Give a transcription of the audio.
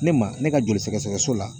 Ne ma ne ka joli sɛgɛsɛgɛso la